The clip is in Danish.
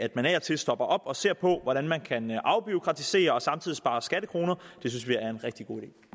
man af og til stopper op og ser på hvordan man kan afbureaukratisere og samtidig spare skattekroner det synes vi er en rigtig